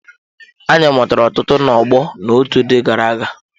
Anyị mụtara ọtụtụ ná ọgbọ na otu ndị gara-aga.